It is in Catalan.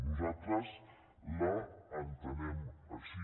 nosaltres l’entenem així